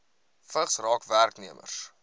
vigs raak werknemers